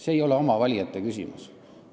See ei ole oma valijate küsimus.